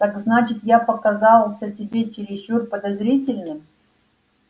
так значит я показался тебе чересчур подозрительным